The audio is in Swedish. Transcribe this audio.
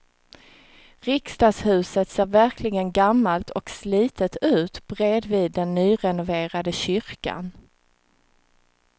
Riksdagshuset ser verkligen gammalt och slitet ut bredvid den nyrenoverade kyrkan.